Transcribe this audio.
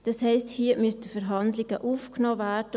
Das heisst, hier müssten Verhandlungen aufgenommen werden.